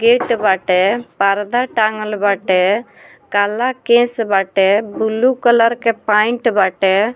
Gate बाटे पर्दा टांगल बाटे काला केस बाटे बुल्लू कलर के पैंट बाटे।